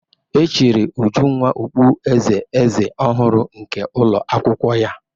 E chiri Ujunwa okpueze eze ọhụrụ nke ụlọ akwụkwọ ya.